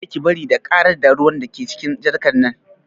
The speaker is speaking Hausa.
Kada ki bari ta ƙarar da ruwan da ke cikin jarkar nan